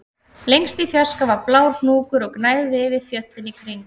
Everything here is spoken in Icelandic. Lengst í fjarska var blár hnúkur og gnæfði yfir fjöllin í kring